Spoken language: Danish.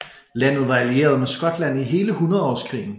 Landet var allieret med Skotland i hele hundredårskrigen